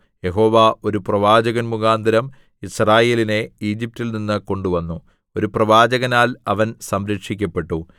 യഹോവ ഒരു പ്രവാചകൻമുഖാന്തരം യിസ്രായേലിനെ ഈജിപ്റ്റിൽനിന്നു കൊണ്ടുവന്നു ഒരു പ്രവാചകനാൽ അവൻ സംരക്ഷിക്കപ്പെട്ടു